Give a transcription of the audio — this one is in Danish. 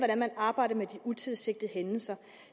at man arbejder med de utilsigtede hændelser